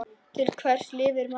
Til hvers lifir maður?